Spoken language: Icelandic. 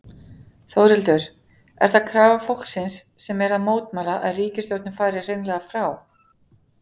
Þórhildur: Er það krafa fólksins sem er að mótmæla, að ríkisstjórnin fari hreinlega frá?